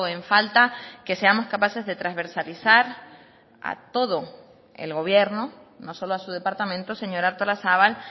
en falta que seamos capaces de transversalizar a todo el gobierno no solo a su departamento señora artolazabal